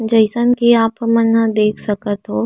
जइसन की आप मन ह देख सकत हव। --